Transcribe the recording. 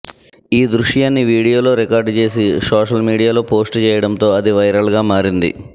ఈ దృశ్యాన్ని వీడియోలో రికార్డు చేసి సోషల్ మీడియాలో పోస్ట్ చేయడంతో అది వైరల్గా మారింది